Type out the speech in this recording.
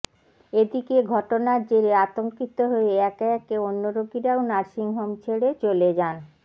এদিকে ঘটনার জেরে আতঙ্কিত হয়ে একে একে অন্য রোগীরাও নার্সিংহোম ছেড়ে চলে যান